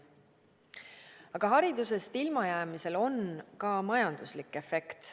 Aga haridusest ilmajäämisel on ka majanduslik efekt.